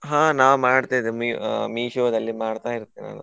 ಹಾ ನಾ ಮಾಡ್ತಾ ಇದ್ದೆ Me~ ಆ Meesho ದಲ್ಲಿ ಮಾಡ್ತಾ ಇರ್ತೇನೆ ನಾನು.